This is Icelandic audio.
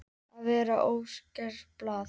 Að vera óskrifað blað